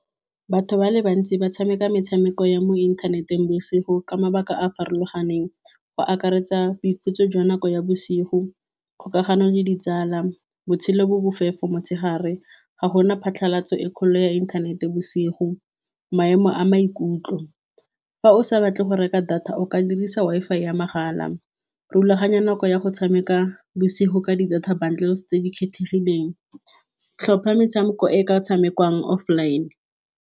Batho ba le bantsi ba tshameka metshameko ya mo inthaneteng bosigo, ka mabaka a a farologaneng. Go akaretsa boikhutso jwa nako ya bosigo kgokagano le ditsala, botshelo bo bofefo motshegare, ga gona phatlhalatso e kgolo ya inthanete bosigo. Maemo a maikutlo fa o sa batle go reka data, o ka dirisa Wi-Fi ya mahala, rulaganya nako ya go tshameka bosigo ka di-data bundles tse di kgethegileng, tlhopha metshameko e ka tshamekiwang offline.